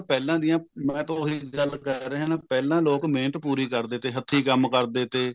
ਪਹਿਲਾਂ ਦੀਆਂ ਮੈਂ ਤਾਂ ਉਹੀ ਗੱਲ ਕਹਿ ਰਿਹਾ ਪਹਿਲਾਂ ਲੋਕ ਮਿਹਨਤ ਪੂਰੀ ਕਰਦੇ ਥੇ ਹੱਥੀ ਕੰਮ ਕਰਦੇ ਥੇ